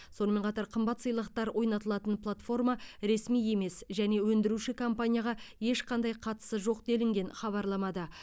сонымен қатар қымбат сыйлықтар ойнатылатын платформа ресми емес және өндіруші компанияға ешқандай қатысы жоқ делінген хабарламада